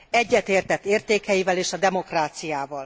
Egyetértett értékeivel és a demokráciával.